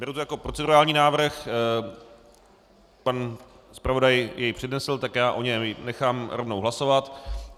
Beru to jako procedurální návrh, pan zpravodaj jej přednesl, tak já o něm nechám rovnou hlasovat.